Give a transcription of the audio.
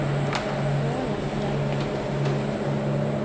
Borgafjäll